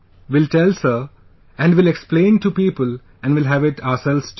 Will tell sir and will explain to people and will have it ourselves too